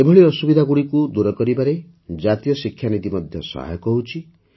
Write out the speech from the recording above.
ଏଭଳି ଅସୁବିଧାଗୁଡ଼ିକୁ ଦୂର କରିବାରେ ଜାତୀୟ ଶିକ୍ଷାନୀତି ମଧ୍ୟ ସହାୟକ ହେଉଛି